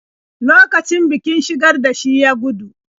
Lokacin bikin-shigar da shi ya gudu.